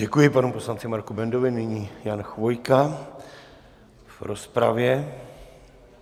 Děkuji panu poslanci Marku Bendovi, nyní Jan Chvojka v rozpravě.